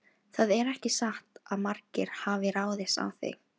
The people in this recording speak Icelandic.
Það er ekki satt að margir hafi ráðist á þig.